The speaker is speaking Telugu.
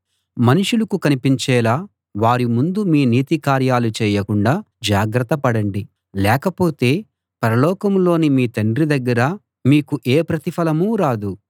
మనుషులకు కనిపించేలా వారి ముందు మీ నీతి కార్యాలు చేయకుండా జాగ్రత్త పడండి లేకపోతే పరలోకంలోని మీ తండ్రి దగ్గర మీకు ఏ ప్రతిఫలమూ రాదు